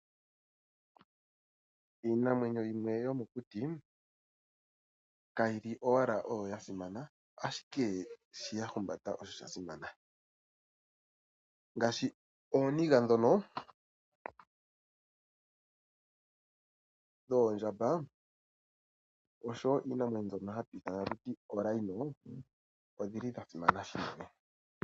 Iinamwenyo yimwe yomokuti kayi li owala oyo ya simana, ashike shono ya humbata osho sha simana. Ngaashi omayego goondjamba noshowo ooniga dhiinamwenyo myono hatu ti oompinda, oga simana unene.